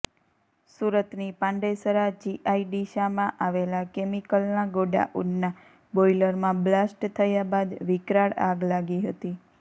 સુરતની પાંડેસરા જીઆઈડીસામાં આવેલા કેમિકલનાં ગોડાઉનનાં બોઇલરમાં બ્લાસ્ટ થયા બાદ વિકરાળ આગ લાગી હતી